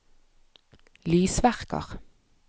lysverker